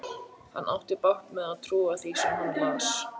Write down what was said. Hann átti bágt með að trúa því sem hann las.